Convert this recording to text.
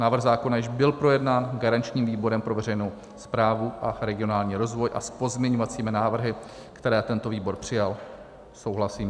Návrh zákona již byl projednán garančním výborem pro veřejnou správu a regionální rozvoj a s pozměňovacími návrhy, které tento výboj přijal, souhlasím.